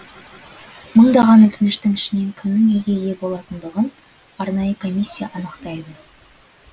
мыңдаған өтініштің ішінен кімнің үйге ие болатындығын арнайы комиссия анықтайды